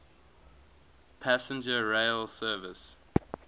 passenger rail service